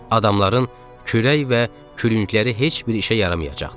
Adamların kürək və kürəkləri heç bir işə yaramayacaqdı.